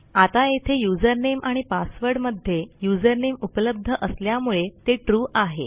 आता येथे usernameआणि passwordमध्ये usernameउपलब्ध असल्यामुळे ते ट्रू आहे